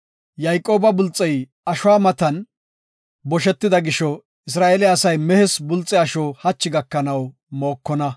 Yayqooba bulxey wodire ashuwa matan boshetida gisho, Isra7eele asay mehes bulxe asho hachi gakanaw mookonna.